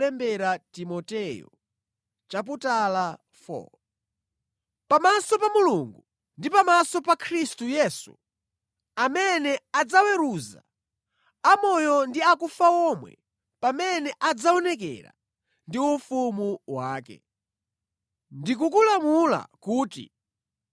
Pamaso pa Mulungu ndi pamaso pa Khristu Yesu, amene adzaweruza amoyo ndi akufa omwe pamene adzaonekera ndi ufumu wake, ndikukulamula kuti: